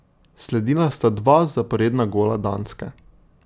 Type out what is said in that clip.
Sledila sta dva zaporedna gola Danske.